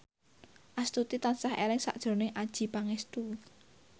Astuti tansah eling sakjroning Adjie Pangestu